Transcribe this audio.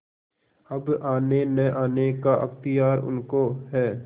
अब आनेनआने का अख्तियार उनको है